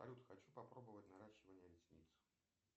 салют хочу попробовать наращивание ресниц